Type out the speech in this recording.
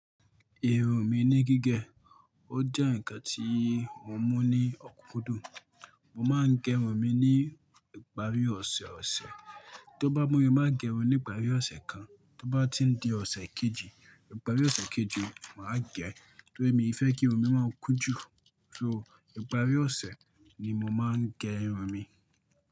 Irun mi ni gígẹ. Ó jẹ́ ǹkan tí mo mú ní ọ̀kúkúndùn. Mo máa ń gé irun mi ní ìparí ọ̀sẹ̀ẹ̀ ọ̀sẹ̀. Tó bá mú mi, máa gé irun ní ìparí ọ̀sẹ̀ kan, tó bá ti ń di ọ̀sẹ̀ kejì, ìparí ọ̀sẹ̀ kejì, mà á gé ẹ. Nítorí mi fẹ́ kí irun mi máa ń kún jù. So, ìparí ọ̀sẹ̀ ni mo máa ń gé irun mi.